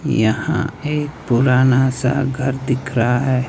यहां एक पुराना सा घर दिख रहा है।